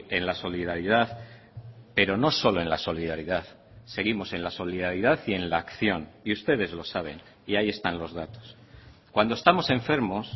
en la solidaridad pero no solo en la solidaridad seguimos en la solidaridad y en la acción y ustedes lo saben y ahí están los datos cuando estamos enfermos